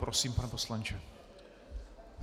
Prosím, pane poslanče.